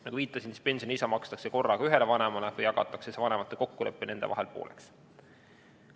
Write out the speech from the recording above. Nagu ma viitasin, pensionilisa makstakse korraga ühele vanemale või jagatakse see vanemate kokkuleppel nende vahel pooleks.